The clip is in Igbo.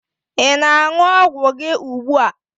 Ị na-aṅụ ọgwụ gị ugbua?